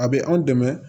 A bɛ anw dɛmɛ